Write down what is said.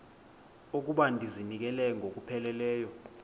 okokuba ndizinikele ngokupheleleyo